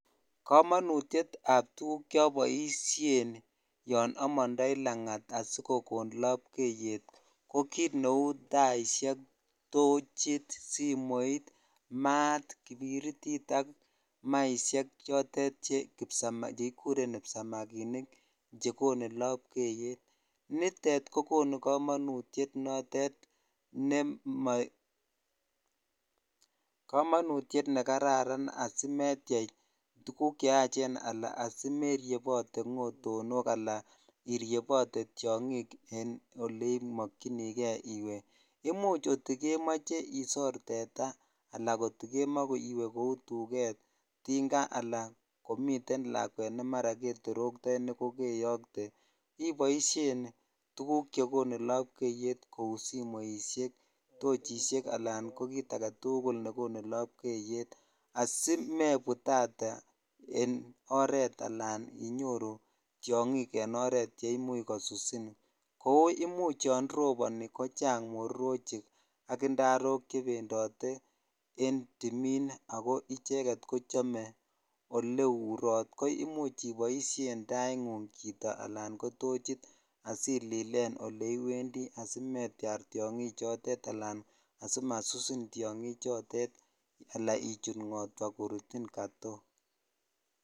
Komonutietab tukuk choboishen yoon omondoi langat asikokon lobkeyet ko kiit neuu taishek, tochit, simoit, maat, kipiritit ak maishek chotet kikuren kipsamakinik chekonu lobkeyet, nitet kokonu komonutiet notet nemo, komonutiet nekararan asimetiech tukuk cheachen anan asimeriebote ng'otonok alaan iriebote tiong'ik en olemokyinike iwee, imuch kotikemoche isor teta alaa kotikemoe iwee kouu tuket, tinga alaan komiten lakwet neketoroktoi nekokeyokte iboishen tukuk chekonu lobkeyet kou simoishek, tochishek alaan ko kiit aketukul nekonu lobkeyet asimebutate en oreet alaan inyoru tiong'ik en oreet cheimuch kosusin, kouu imuch yoon roboni kochang mororochik ak indarok chebendote en timiin ak ko icheket kochome oleurot ko imuch iboishen taing'ung chito alaan ko tochit asililen oleiwendi asimetiar tiong'i chotet alaan asimasusin tiong'i chotet alaa ichut ng'otwa korutin kotok.